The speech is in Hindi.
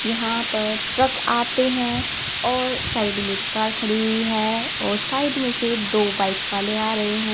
यहां पर ट्रक आते हैं और साइड में कार खड़ी हुई है और साइड में से दो बाइक वाले आ रहे हैं।